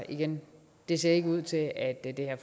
igen det ser ikke ud til at at det her